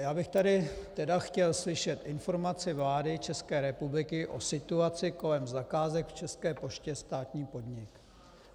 Já bych tu tedy chtěl slyšet informaci vlády České republiky o situaci kolem zakázek v České poště, státní podnik.